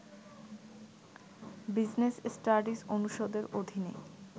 business studies অনুষদের অধীনে